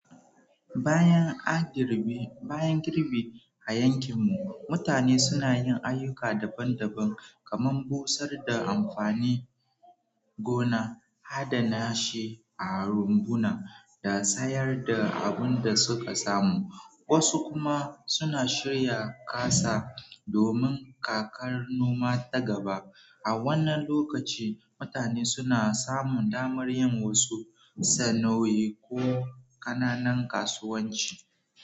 Bayan an girbi, bayan girbi a yankin mu, mutane suna yin ayyuka daban-daban kamar busar da amfani gona, hada nashe a rumbuna, da sayar da abin da suka samu. Wasu kuma suna shirya ƙasa domin kakar noma ta gaba. A wannan lokaci, mutane suna samun damar yin wasu sana'o'i ko ƙananan kasuwanci.